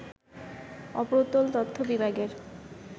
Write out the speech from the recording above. অপ্রতুল তথ্য বিভাগের